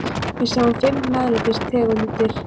Við sjáum fimm MEÐLÆTIS tegundir.